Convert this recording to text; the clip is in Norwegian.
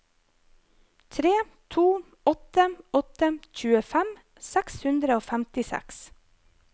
tre to åtte åtte tjuefem seks hundre og femtiseks